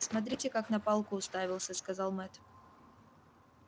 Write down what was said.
смотрите как на палку уставился сказал мэтт